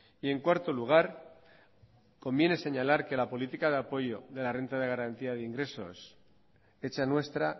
y en cuarto lugar conviene señalar que la política de apoyo de la renta de garantía de ingresos hecha nuestra